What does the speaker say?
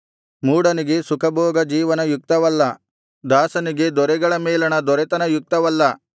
ಮೂಢನಿಗೆ ಸುಖಭೋಗ ಜೀವನ ಯುಕ್ತವಲ್ಲ ದಾಸನಿಗೆ ದೊರೆಗಳ ಮೇಲಣ ದೊರೆತನ ಯುಕ್ತವಲ್ಲ